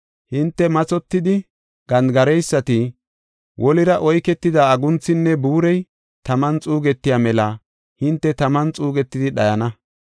Hinte mathotidi gandigareysati, wolira oyketida agunthinne buurey taman xuugetiya mela hinte taman xuugetidi dhayana.